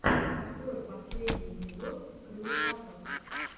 открой последний эпизод скрю аттак